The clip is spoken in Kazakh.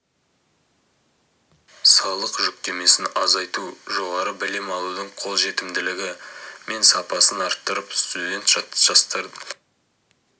салық жүктемесін азайту жоғары білім алудың қолжетімділігі мен сапасын арттырып студент жастардың жатақханадағы жағдайын жақсарту